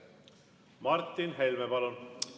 Martin Helme, palun!